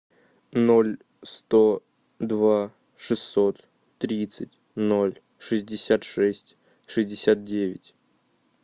ноль сто два шестьсот тридцать ноль шестьдесят шесть шестьдесят девять